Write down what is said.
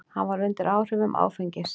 Hann var undir áhrifum áfengis.